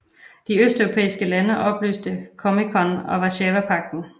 De østeuropæiske lande opløste COMECON og Warszawapagten